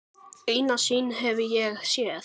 Eina sýn hef ég séð.